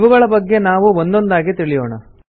ಇವುಗಳ ಬಗ್ಗೆ ನಾವು ಒಂದೊಂದಾಗಿ ತಿಳಿಯೋಣ